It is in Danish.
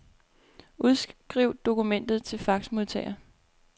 Udskriv dokumentet til faxmodtager.